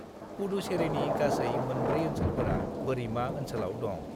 पुडुचेरीनि गासै मोनब्रै ओनसोलफोरा बोरिमा ओनसोलाव दं।